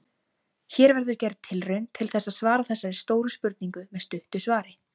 Hér verður gerð tilraun til þess að svara þessari stóru spurningu með stuttu svari.